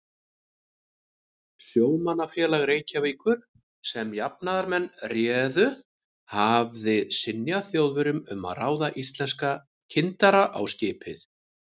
Sjómannafélag Reykjavíkur, sem jafnaðarmenn réðu, hafði synjað Þjóðverjum um að ráða íslenska kyndara á skipið.